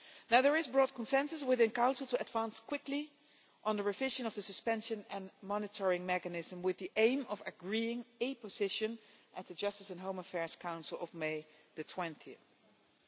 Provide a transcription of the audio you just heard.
There is broad consensus within Council to advance quickly on the revision of the suspension and monitoring mechanism with the aim of agreeing a position at the Justice and Home Affairs Council of 20